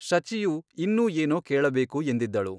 ಶಚಿಯು ಇನ್ನೂ ಏನೋ ಕೇಳಬೇಕು ಎಂದಿದ್ದಳು.